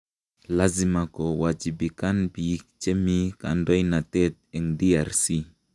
Lasima ko wachibikan biik che mi kandoinatet eng DRC